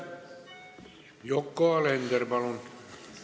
Yoko Alender, palun!